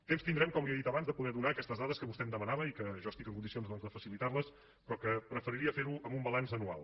temps tindrem com li he dit abans de poder donar aquestes dades que vostè em demanava i que jo estic en condicions doncs de facilitar les però que preferiria fer ho amb un balanç anual